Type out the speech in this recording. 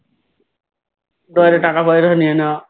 drawer এর টাকা পয়সা নিয়ে নেওয়া